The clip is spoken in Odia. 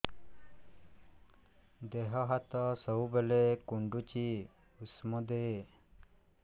ଦିହ ହାତ ସବୁବେଳେ କୁଣ୍ଡୁଚି ଉଷ୍ଧ ଦେ